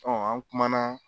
an kumana